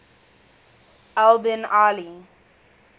al bin ali